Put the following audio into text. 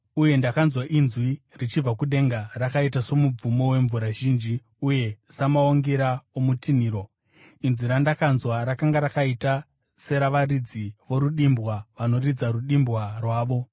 Uye ndakanzwa inzwi richibva kudenga rakaita somubvumo wemvura zhinji uye samaungira okutinhira. Inzwi randakanzwa rakanga rakaita seravaridzi vorudimbwa vanoridza rudimbwa rwavo.